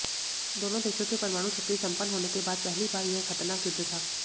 दोनों देशों के परमाणु शक्ति संपन्न होने के बाद पहली बार यह खतरनाक युद्ध था